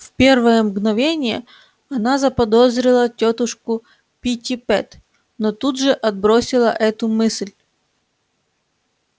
в первое мгновение она заподозрила тётушку питтипэт но тут же отбросила эту мысль